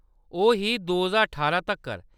ओह् ही दो ज्हार ठारां तक्कर।